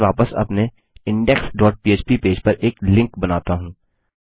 चलिए मैं वापस अपने इंडेक्स डॉट पह्प पेज पर एक लिंक बनाता हूँ